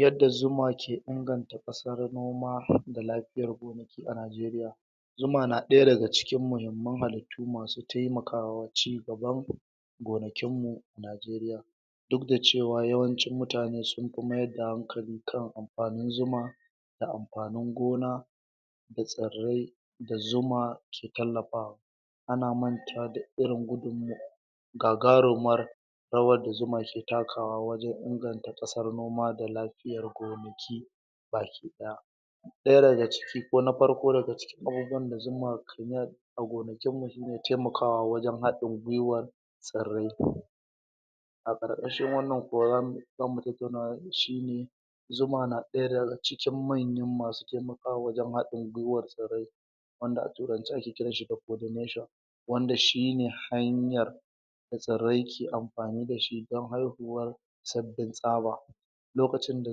yanda zuma ke inganta ƙasar noma da lafiyar gonaki a nigeria zuma na ɗaya daga cikin mahimman halitu masu taimakawa cigaban gonakin mu nigeria dukdacewa yawancin mutan sunfi maida hankali kan anfani zuma da anfani gona da tsirai da zuma ke talafawa ana mantawa da irin gudun mawa gagarumar rawar da zuma ke takawa wajan inganta ƙasar noma da lafiyan gonaki baki daya ɗaya dagaciki ko na farko dagaciki abubuwan da zuma kinal agonakimu shine tamakawa wajan hadin gwiwar tsirai a ƙarƙashin wannan horan zamu tataunawa shine zuma na ɗaya daga cikin manyan masu taimakawa wajan haɗin gwiwan tsirai wandda a turance ake kiranshi da coordination wanda shine hanyar da tsirai ke anfani dashi dan haiyuwanr sabbin tsaba lokacin da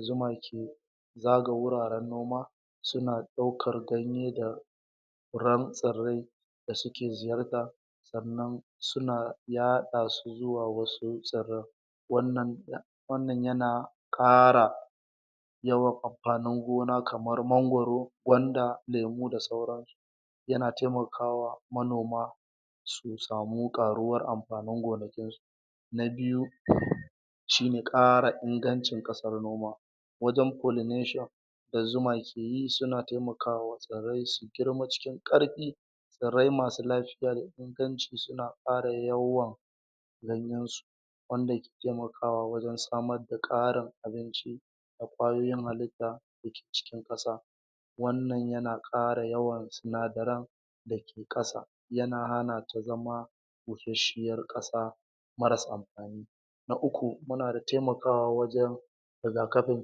zuma ke zakaga guraran noma suna daukar ganye da furan tsirai dasuki ziyarta sannan suna yaɗasu zuwa wasu tsiran wannan wannan yana ƙara yawan anfani gona kamar mangoro gwanda lemu da sauransu yana taimakawa manoma susamu ƙaruwan anfani gonakin su na biyu shine ƙara ingancin ƙasar noma wanjan pollination da zuma keyi suna taimakawa tsirai su gima cikin ƙarfi tsirai masu lafiya da ingancisuna ƙara yawan ganyansu wandake taimakawa wajan damarda ƙarin abinci da kwayoyin halita dake cikin ƙasa wannan yan ƙara yawan sinadaran daki ƙasa yana hanata zama bushashiyar ƙasa marasa anfani na uku munada taimakawa wajan rigakafin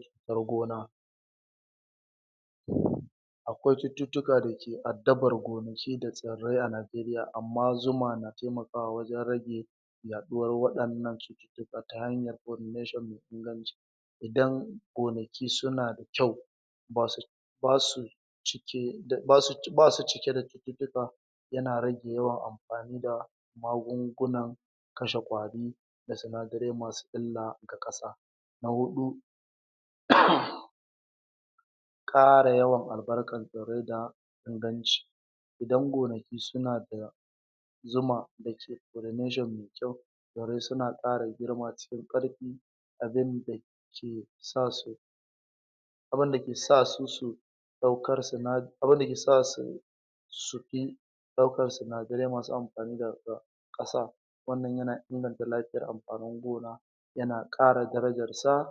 cutar gona akwai cututuka dake adabar gonaki da tsirai a nigeria amma zuma na tiamakawa wajan rage yaɗuwan wainnan cututuka ta hanyar coordination mai inganci idan gonaki sunada kyau basu basu um basu cikeda cututuka yana rage yawan anfanida magungunan kashe kwari da sinadarai masu illa ga ƙasa na huɗu ƙara yawan albarkan tsirai da inganci idan gonaki suna da zuma dake coordination mai kyau tsirai suna ƙara girma cikin ƙarfi abin dake sasu abindake sasu su daukar sina abunda ke sasu um ɗaukar sinadarai masu anfani daga ƙasa wannan yana inganta lafiyan anfani gona yana ƙara darajansa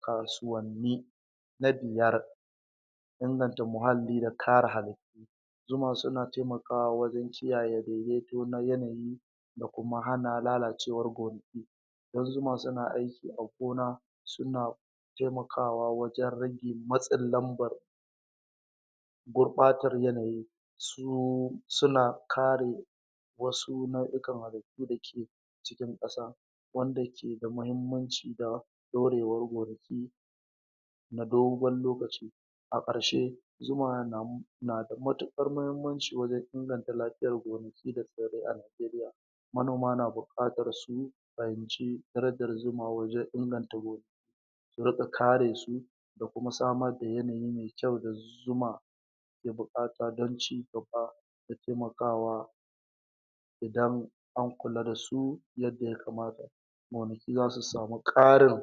kasuwani na biyar inganta mahali da kare halitu zuma suna taimakawa wajan kiyaye daidaito na yanayi dakuma hana lalaciwar gonaki ƙudan zuma suna aiki a gona suna taimakawa wajan rage matsin lambar gurɓatan yanayi su suna kare wasu nau'ikan halittu cikin ƙasa wanda kida mahimmanci da ɗaurewan gonaki na dogan lokaci a ƙarshe zuma nada matuƙar mahimmanci wajan inganta lafiyar gonaki da tsirai a nigeria manoma na buƙatar su fahimci zuma wajan inganta gonaki su ringa karesu dakuma samar da yanayi mai kyau da zuma ke buƙata dan cigaba da taimakawa idan an kula dasu yanda yakamata gonaki zasu samu ƙarin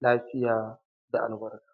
lafiya da albarka.